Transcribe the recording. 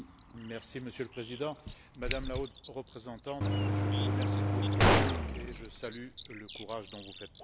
Monsieur le Président, Madame la Haute représentante, je vous remercie pour vos propos et je salue le courage dont vous faites preuve.